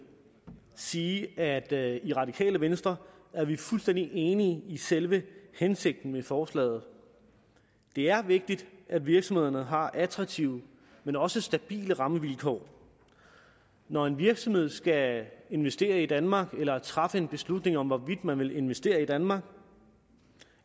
sige at i det radikale venstre er vi fuldstændig enige i selve hensigten med forslaget det er vigtigt at virksomhederne har attraktive men også stabile rammevilkår når en virksomhed skal investere i danmark eller træffe en beslutning om hvorvidt man vil investere i danmark